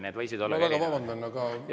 Need võisid olla …